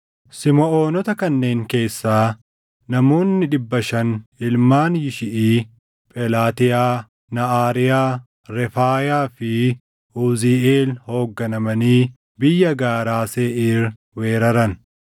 Simiʼoonota kanneen keessaa namoonni dhibba shan ilmaan Yishiʼii Phelaatiyaa, Naʼaariyaa, Refaayaa fi Uziiʼeel hoogganamanii biyya gaaraa Seeʼiir weeraran.